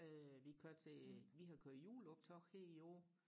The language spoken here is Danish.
øh vi kører til vi har kørt juleoptog her i år